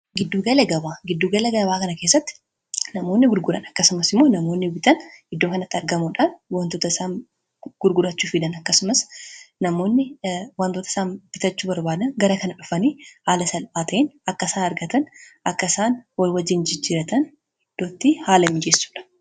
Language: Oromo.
giddugala gabaa kana keessatti namoonni gurguran akkasumas immoo namoonni bitan iddoo kanatti argamuudhaan wantoot isaan gurgurachuu fidan akkasumas namoonni wantoota isaan bitachuu barbaada gara kana dhufanii haala salphaa ta'een akka isaan argatan akka isaan wal waj jijjiratan iddootti haala mijeessuudha.